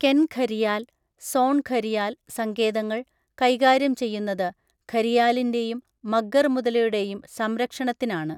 കെൻ ഘരിയാൽ, സോൺ ഘരിയാൽ സങ്കേതങ്ങൾ കൈകാര്യം ചെയ്യുന്നത് ഘരിയാലിന്റെയും മഗ്ഗർ മുതലയുടെയും സംരക്ഷണത്തിനാണ്.